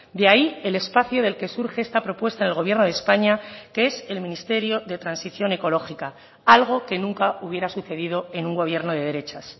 de ahí el espacio del que surge esta propuesta en el gobierno de españa que es el ministerio de transición ecológica algo que nunca hubiera sucedido en un gobierno de derechas